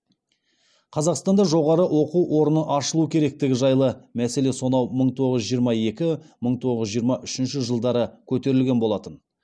қазақстанда жоғары оқу орны ашылуы керектігі жайлы мәселе сонау мың тоғыз жүз жиырма екі мың тоғыз жүз жиырма үшінші жылдары көтерілген болатын